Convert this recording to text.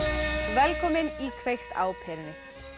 velkomin í kveikt á perunni